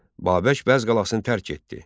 Babək Bəzz qalasını tərk etdi.